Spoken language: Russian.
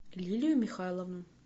лилию михайловну